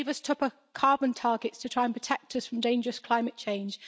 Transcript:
You gave us tougher carbon targets to try and protect us from dangerous climate change.